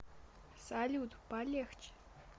салют полегче